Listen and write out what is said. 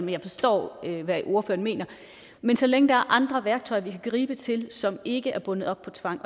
jeg forstår hvad ordføreren mener men så længe der er andre værktøjer vi kan gribe til som ikke er bundet op på tvang